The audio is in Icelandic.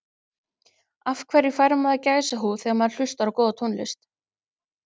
Af hverju fær maður gæsahúð þegar maður hlustar á góða tónlist?